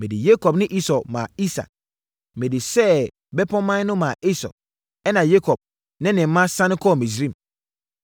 Mede Yakob ne Esau maa Isak. Mede Seir bepɔman no maa Esau, ɛnna Yakob ne ne mma siane kɔɔ Misraim.